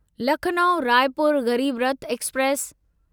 Lucknow Raipur Garib Rath express